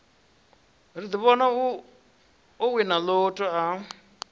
ḓivhona o wina lotto a